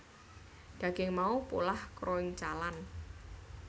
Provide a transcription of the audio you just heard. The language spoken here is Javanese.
Daging mau polah kroncalan